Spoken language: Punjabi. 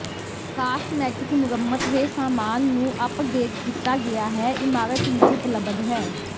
ਕਾਸਮੈਟਿਕ ਮੁਰੰਮਤ ਦੇ ਸਾਮਾਨ ਨੂੰ ਅੱਪਡੇਟ ਕੀਤਾ ਗਿਆ ਹੈ ਇਮਾਰਤ ਵਿੱਚ ਉਪਲੱਬਧ ਹੈ